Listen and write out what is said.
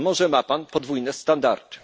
A może ma pan podwójne standardy?